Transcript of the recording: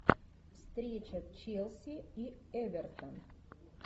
встреча челси и эвертон